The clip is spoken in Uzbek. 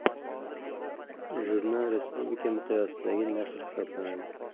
Jurnal respublika miqyosidagi nashr hisoblanadi.